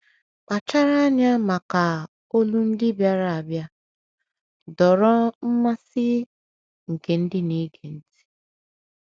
“ Kpachara Anya Maka ‘ Olu Ndị Bịara Abịa, ’” dọọrọ mmasị nke ndị na - ege ntị.